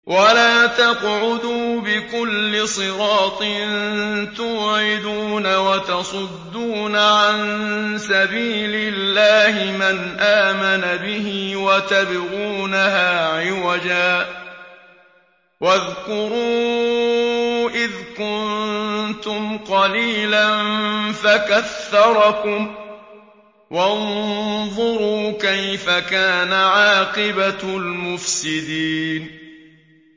وَلَا تَقْعُدُوا بِكُلِّ صِرَاطٍ تُوعِدُونَ وَتَصُدُّونَ عَن سَبِيلِ اللَّهِ مَنْ آمَنَ بِهِ وَتَبْغُونَهَا عِوَجًا ۚ وَاذْكُرُوا إِذْ كُنتُمْ قَلِيلًا فَكَثَّرَكُمْ ۖ وَانظُرُوا كَيْفَ كَانَ عَاقِبَةُ الْمُفْسِدِينَ